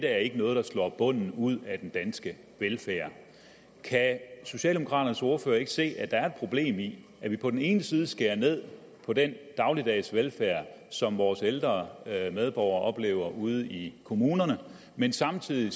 er noget der slår bunden ud af den danske velfærd kan socialdemokraternes ordfører ikke se at der er et problem i at vi på den ene side skærer ned på den dagligdags velfærd som vores ældre medborgere oplever ude i kommunerne men samtidig